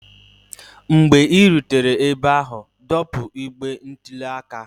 mgbe ị rutere ebe ahụ, dọpụ igbe ntụli aka